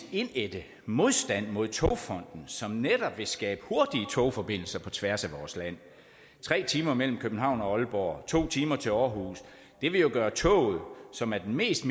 indædte modstand mod togfonden som netop vil skabe hurtige togforbindelser på tværs af vores land tre timer mellem københavn og aalborg to timer til aarhus det vil jo gøre toget som er den mest